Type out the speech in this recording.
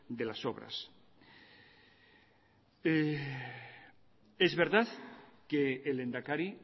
de las obra es verdad que el lehendakari